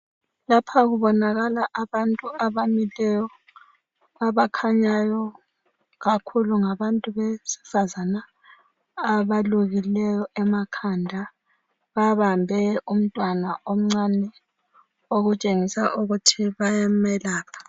Lapha kubonakala abantu abamileyo abakhanyayo kakhulu ngabantu besifazana abalobileyo emakhanda babambe umntwana omncane okutshengisa ukuthi bayamelapha.